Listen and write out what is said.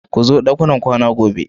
Ku zo ɗakunan kwana gobe.